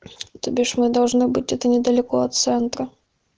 то бишь мы должны быть это недалеко от центра